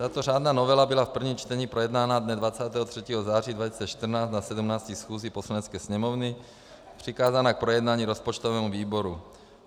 Tato řádná novela byla v prvním čtení projednána dne 23. září 2014 na 17. schůzi Poslanecké sněmovny, přikázána k projednání rozpočtovému výboru.